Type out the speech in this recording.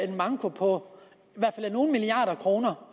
en manko på i nogle milliarder kroner